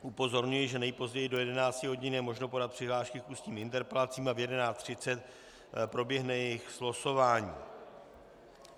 Upozorňuji, že nejpozději do 11 hodin je možno podat přihlášky k ústním interpelacím a v 11.30 proběhne jejich slosování.